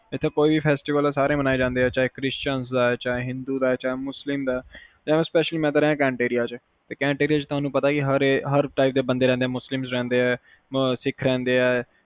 ਇਥੇ ਕੋਈ ਵੀ festival ਸਾਰੇ ਮਨਾਏ ਜਾਂਦੇ ਆ ਹੈ ਚਾਹੇ christans ਦਾ ਹੈ ਚਾਹੇ ਹਿੰਦੂ ਦਾ ਚਾਹੇ ਮੁੱਲੀਮ ਦਾ ਤੇ specially ਮੈਂ ਤਾ ਰਿਹਾ cantt area ਚ ਓਥੇ ਹਰ ਤਰਾਂ ਦੇ ਬੰਦੇ ਰਹਿੰਦੇ ਆ